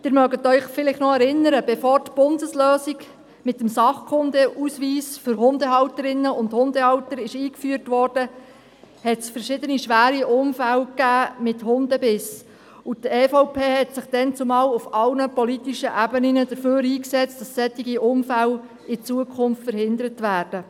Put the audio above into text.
Sie erinnern sich vielleicht noch: Bevor die Bundeslösung mit dem Sachkundeausweis für Hundehalterinnen und Hundehalter eingeführt wurde, gab es verschiedene schwere Unfälle mit Hundebissen, und die EVP hat sich damals auf allen politischen Ebenen dafür eingesetzt, dass solche Unfälle in Zukunft verhindert werden.